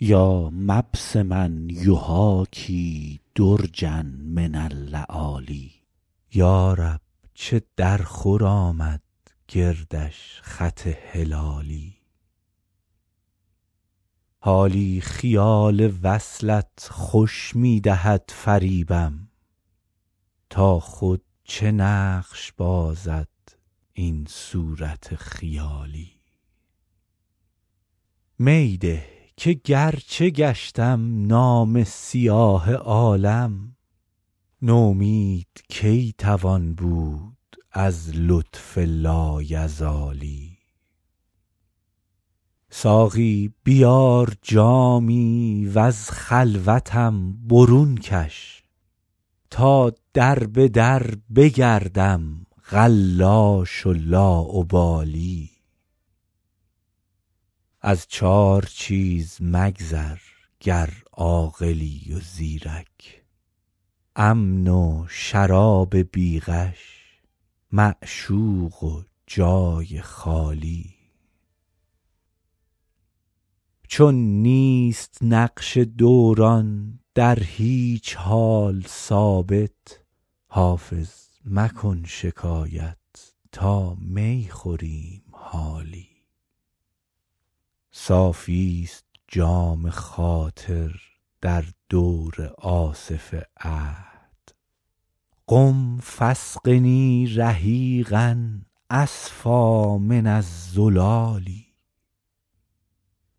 یا مبسما یحاکی درجا من اللآلی یا رب چه درخور آمد گردش خط هلالی حالی خیال وصلت خوش می دهد فریبم تا خود چه نقش بازد این صورت خیالی می ده که گرچه گشتم نامه سیاه عالم نومید کی توان بود از لطف لایزالی ساقی بیار جامی و از خلوتم برون کش تا در به در بگردم قلاش و لاابالی از چار چیز مگذر گر عاقلی و زیرک امن و شراب بی غش معشوق و جای خالی چون نیست نقش دوران در هیچ حال ثابت حافظ مکن شکایت تا می خوریم حالی صافیست جام خاطر در دور آصف عهد قم فاسقني رحیقا أصفیٰ من الزلال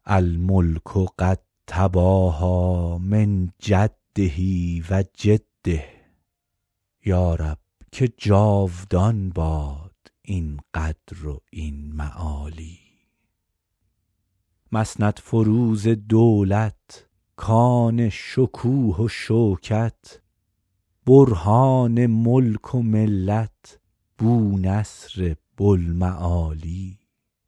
الملک قد تباهیٰ من جده و جده یا رب که جاودان باد این قدر و این معالی مسندفروز دولت کان شکوه و شوکت برهان ملک و ملت بونصر بوالمعالی